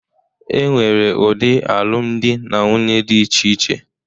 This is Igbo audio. E nwere ụdị alụmdi na nwunye dị iche iche.